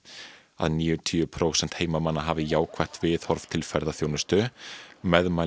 að níutíu prósent heimamanna hafi jákvætt viðhorf til ferðaþjónustu